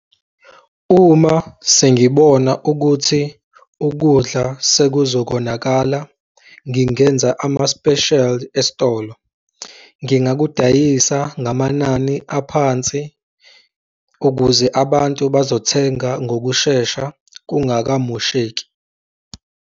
Uma sengibona ukuthi ukudla sekuzokonakala, ngingenza ama-special esitolo, ngingakudayisa ngamanani aphansi, ukuze abantu bazothenga ngokushesha kungamosheki.